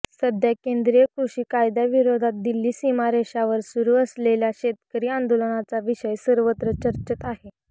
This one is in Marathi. सध्या केंद्रीय कृषी कायद्याविरोधात दिल्ली सीमा रेषावर सुरू असलेल्या शेतकरी आंदोलनाचा विषय सर्वत्र चर्चेत आहे